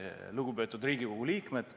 Lugupeetud Riigikogu liikmed!